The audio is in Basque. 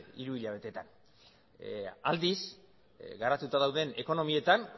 hiruhilabeteetan aldiz garatuta dauden ekonomietan